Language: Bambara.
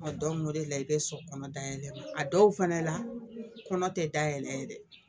Dɔnku o de la i bɛ sɔ kɔnɔ dayɛlɛ a dɔw fana la kɔnɔ tɛ da yɛlɛ dɛ